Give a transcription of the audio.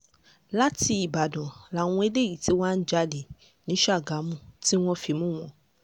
láti ìbàdàn làwọn eléyìí tí wàá ń jalè ní ṣàgámù tí wọ́n fi mú wọn